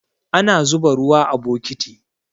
Ana zuba ruwa a bokiti